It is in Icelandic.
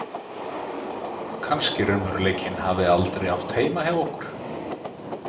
Kannski raunveruleikinn hafi aldrei átt heima hjá okkur.